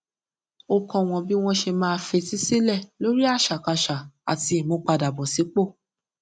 ó kó wón bí wón ṣe máa fetí sílè lórí àṣàkáṣà àti ìmúpadàbọsípò